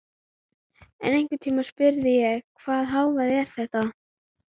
En einhvern tímann spurði ég: Hvaða hávaði var þetta?